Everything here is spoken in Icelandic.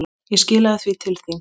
Ég skilaði því til þín.